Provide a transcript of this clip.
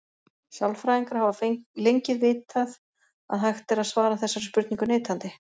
Sálfræðingar hafa lengið vitað að hægt er að svara þessari spurningu neitandi.